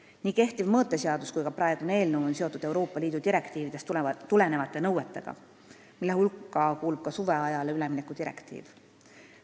Nii kehtiv mõõteseadus kui ka praegune eelnõu on seotud Euroopa Liidu direktiividest tulenevate nõuetega, mille hulka kuulub ka suveajale ülemineku direktiiv.